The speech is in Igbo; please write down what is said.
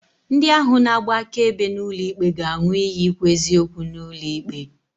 Ndi ahụ na-agba akaebe n'ulo ikpe ga-aṅụ iyi ikwu eziokwu n'ulo ikpe.